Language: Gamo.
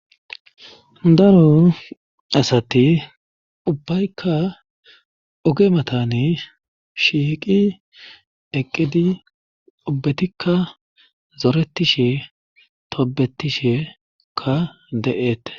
Daro asati ubbaykka ogematani shiiqi eqqidi obbetikka zoretishe tobetishekka de7eete